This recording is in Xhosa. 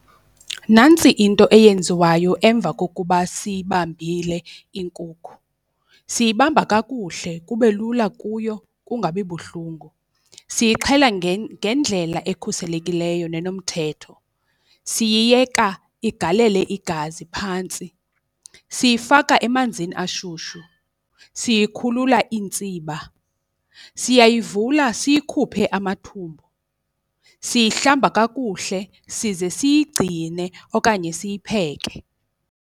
Nantsi into eyenziwayo emva kokuba siyibambile inkukhu, siyibamba kakuhle kube lula kuyo kungabi buhlungu, siyixhela ngendlela ekhuselekileyo nenomthetho. Siyiyeka igalele igazi phantsi, siyifaka emanzini ashushu, siyikhulula iintsiba, siyayivula siyikhuphe amathumbu, siyihlamba kakuhle size siyigcine okanye siyipheke.